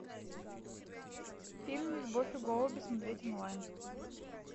фильм любовь и голуби смотреть онлайн